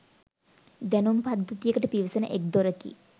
දැනුම් පද්ධතියකට පිවිසෙන එක් දොරකි